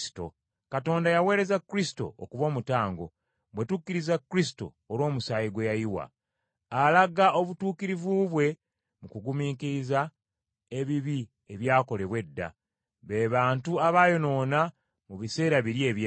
Katonda yaweereza Kristo okuba omutango, bwe tukkiriza Kristo olw’omusaayi gwe yayiwa. Alaga obutuukirivu bwe mu kugumiikiriza ebibi ebyakolebwa edda, be bantu abaayonoona mu biseera biri eby’edda.